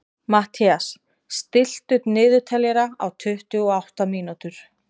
Mathías, stilltu niðurteljara á tuttugu og átta mínútur.